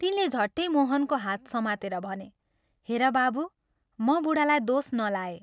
तिनले झट्टै मोहनको हात समातेर भने, " हेर बाबू, म बूढालाई दोष नलाए।